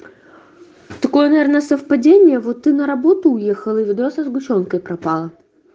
такое наверное совпадение вот ты на работу уехала и вода со сгущёнкой пропала